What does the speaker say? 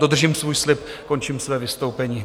Dodržím svůj slib, končím svoje vystoupení.